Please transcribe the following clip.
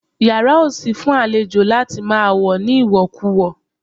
Yàrá ò sí fún àlejò láti máa wọ̀ ní ìwọ̀kuwọ̀